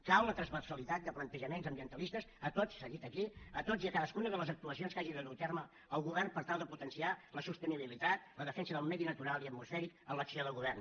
cal la transversalitat de plantejaments ambientalistes s’ha dit aquí a totes i cadascuna de les actuacions que hagi de dur a terme el govern per tal de potenciar la sostenibilitat la defensa del medi natural i atmosfèric en l’acció de govern